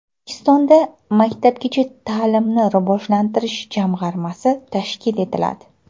O‘zbekistonda Maktabgacha ta’limni rivojlantirish jamg‘armasi tashkil etiladi.